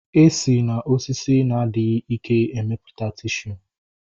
E si na osisi na-adịghị ike emeputa tishu